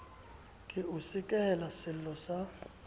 ke o sekehele sello sa